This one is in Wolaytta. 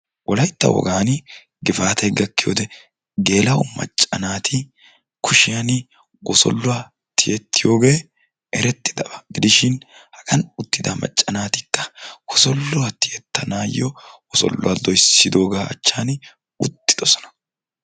Wolaytta wogaani gifaatay gakkiyode gela'o macca naati wosoluwa tiyettiyogee erettidabaa gidishin hagan uttida macca naatikka wosolluwa tiyettanaayo wosolluwa doyssiddooga achchan uttidoosona